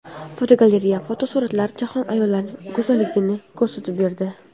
Fotogalereya: Fotosuratchi jahon ayollarining go‘zalligini ko‘rsatib berdi.